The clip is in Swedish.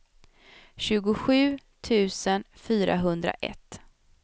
tjugosju tusen fyrahundraett